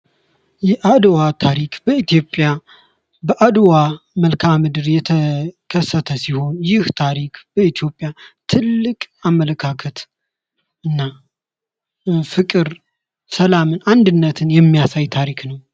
የአድዋ ታሪክ በኢትዮጵያ በአድዋ ምድር የተከሰተ ሲሆን ይህ የኢትዮጵያን ትልቅ አመለካከት እና ፍቅር፥ ሰላም፥ አንድነትን የሚያሳይ ታሪክ ነው።